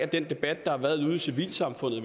den debat der har været ude i civilsamfundet